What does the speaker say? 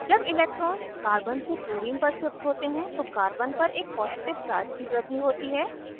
जब electrons carbon से chlorine पर shift होते हैं तो carbon पर एक positive charge की वृद्धि होती है